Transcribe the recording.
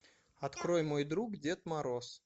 открой мой друг дед мороз